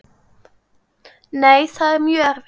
Nei, það er mjög erfitt.